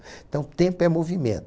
Então, tempo é movimento.